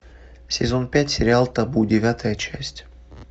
сезон пять сериал табу девятая часть